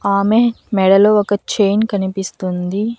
ఆమె మెడలో ఒక చైన్ కనిపిస్తుంది.